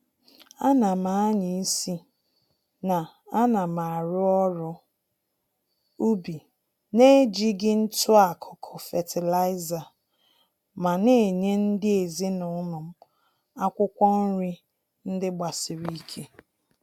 Ánám ányá-isi na anam arụ ọrụ ubi naejighị ntụ-akụkụ fertilizer, ma Nenye ndị ezinụlọm akwụkwụ nri ndị gbasiri ike